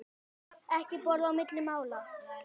Ekki borða á milli mála.